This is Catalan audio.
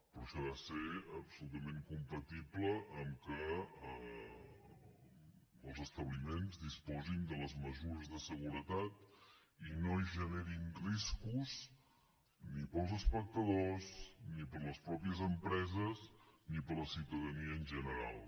però això ha de ser absolutament compatible amb el fet que els establiments disposin de les mesures de seguretat i no generin riscos ni per als espectadors ni per a les mateixes empreses ni per a la ciutadania en general